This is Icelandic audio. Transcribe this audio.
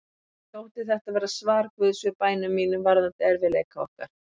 Mér þótti þetta vera svar Guðs við bænum mínum varðandi erfiðleika okkar.